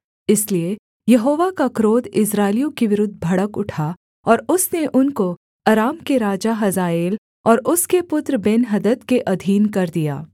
इसलिए यहोवा का क्रोध इस्राएलियों के विरुद्ध भड़क उठा और उसने उनको अराम के राजा हजाएल और उसके पुत्र बेन्हदद के अधीन कर दिया